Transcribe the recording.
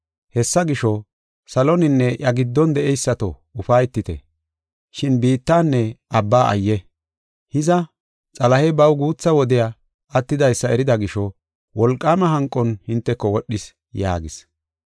Hessa gisho, saloninne iya giddon de7eysato ufaytite. Shin biittanne abba ayye! Hiza, Xalahey baw guutha wodey attidaysa erida gisho, wolqaama hanqon hinteko wodhis” yaagis.